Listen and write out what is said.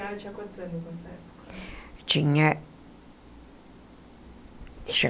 A senhora tinha quantos anos nessa época? Tinha...deixa